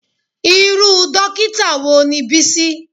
Irú Dókítà wo ni Bísí?